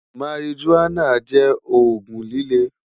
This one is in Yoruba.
marijuana jẹ oogun lile